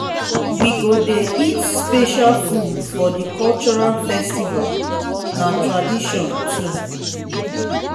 na for naming ceremony we dey dey gather family to welcome new baby.